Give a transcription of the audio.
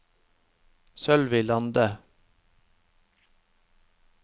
Sølvi Lande